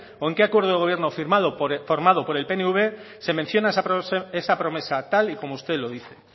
o en qué acuerdo de gobierno formado por el pnv se menciona esa promesa tal y como usted lo dice